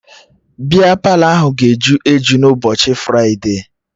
Bịa Palọ ahụ ga-eju eju n'ụbọchị fride